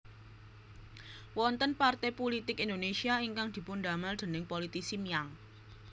Wonten parté pulitik Indonésia ingkang dipundamel déning politisi Miang